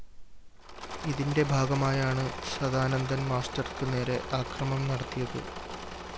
ഇതിന്റെ ഭാഗമായാണ് സദാനന്ദന്‍ മാസ്റ്റര്‍ക്കു നേരെ ആക്രമം നടത്തിയത്